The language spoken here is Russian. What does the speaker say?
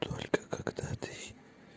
только когда ты